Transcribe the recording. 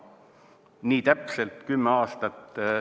Nii täpselt 10 aastat?